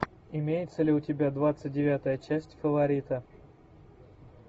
имеется ли у тебя двадцать девятая часть фаворита